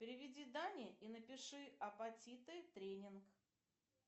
переведи дане и напиши аппатиты тренинг